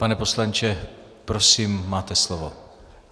Pane poslanče, prosím, máte slovo.